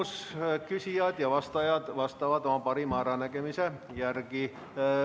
Küsijad ja vastajad vastavad oma parima äranägemise järgi.